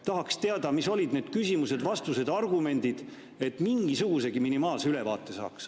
Tahaks teada, mis olid need küsimused, vastused ja argumendid, et mingisugusegi minimaalse ülevaate saaks.